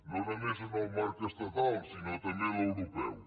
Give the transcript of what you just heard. no només en el marc estatal sinó també a l’europeu